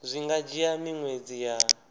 zwi nga dzhia miṅwedzi ya